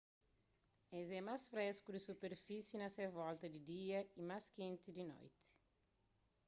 es é más fresku di ki superfisi na se volta di dia y más kenti di noti